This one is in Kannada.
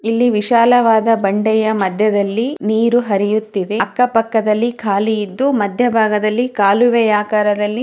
ಇಲ್ಲಿ ವಿಶಾಲವಾದ ಬಂಡೆಯ ಮಧ್ಯದಲ್ಲಿ ನೀರು ಹರಿಯುತ್ತಿದೆ. ಅಕ್ಕ ಪಕ್ಕದಲ್ಲಿ ಖಾಲಿ ಇದ್ದು ಮಧ್ಯ ಭಾಗದಲ್ಲಿ ಕಾಲುವೆ ಆಕಾರದಲ್ಲಿ--